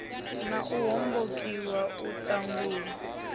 na u hombokiwa u ṱangulwa